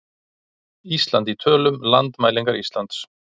Ísland í tölum- Landmælingar Íslands.